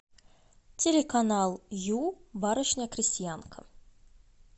телеканал ю барышня крестьянка